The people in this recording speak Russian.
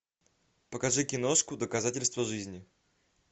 покажи киношку доказательство жизни